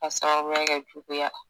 K'a sababuya kɛ juguya.